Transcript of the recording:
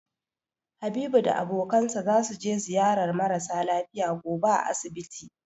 Habibu da abokinsa zasu je ziyarar mara sa lafiya gobe a asibiti.